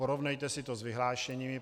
Porovnejte si to s vyhlášením.